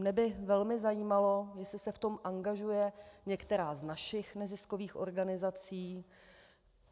Mne by velmi zajímalo, jestli se v tom angažuje některá z našich neziskových organizací.